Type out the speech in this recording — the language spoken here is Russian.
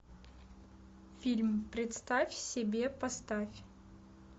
фильм представь себе поставь